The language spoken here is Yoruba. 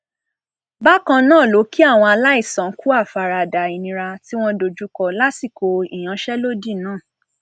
bákan náà ló kí àwọn aláìsàn kú àfaradà ìnira tí wọn dojúkọ lásìkò ìyanṣẹlódì náà